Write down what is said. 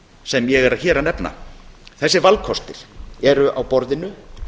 sem ég er hér að nefna þessir valkostir eru á borðinu